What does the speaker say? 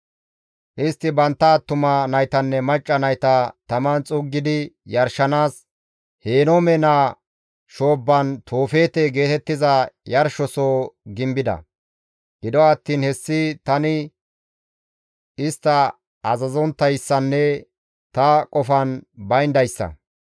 Istti bantta attuma naytanne macca nayta taman xuuggidi yarshanaas, Henoome naa shoobban Toofeete geetettiza yarshosoho gimbida. Gido attiin hessi tani istta azazonttayssanne ta qofan bayndayssa.